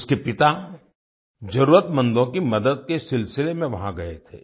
उसके पिता जरूरतमंदों की मदद के सिलसिले में वहाँ गए थे